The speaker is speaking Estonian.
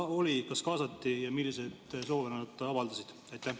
Kas neid kaasati ja milliseid soove nad avaldasid?